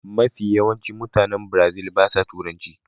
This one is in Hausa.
Mafi yawan mutane biirazil ba sa turanci